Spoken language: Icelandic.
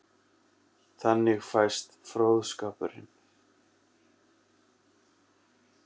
Þannig fæst fróðskapurinn.